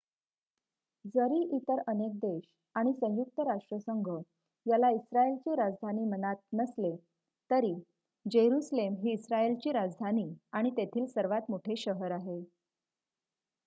जरी इतर अनेक देश आणि संयुक्त राष्ट्रसंघ याला इस्रायेलची राजधानी मनात नसले तरी जेरुसलेम ही इस्रायेलची राजधानी आणि तेथील सर्वात मोठे शहर आहे